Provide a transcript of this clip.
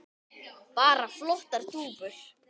Bara flottar dúfur.